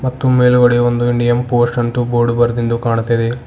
ಮತ್ತು ಮೇಲ್ಗಡೆ ಒಂದು ಇಂಡಿಯನ್ ಪೋಸ್ಟ್ ಅಂಟು ಬೋರ್ಡ್ ಬರ್ದಿಂದು ಕಾಣ್ತಾ ಇದೆ.